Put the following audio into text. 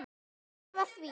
Ég lofa því.